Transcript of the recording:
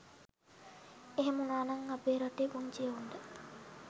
එහෙම වුණානම් අපේ රටේ පුංචි එවුන්ට